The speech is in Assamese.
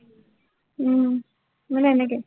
উম মানে, এনেকে।